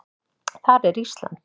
Þar er Ísland.